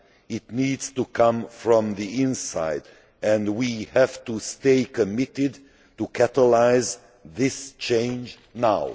It needs to come from the inside and we have to stay committed in order to catalyse this change now.